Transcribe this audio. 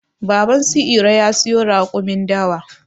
Baban su iro ya siyo raƙumin dawa.